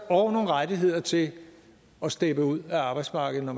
og nogle rettigheder til at steppe ud af arbejdsmarkedet når